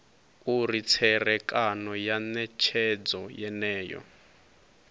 uri tserekano ya netshedzo yeneyo